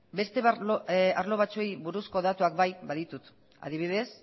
beste arlo batzuei buruzko datuak bai baditut adibidez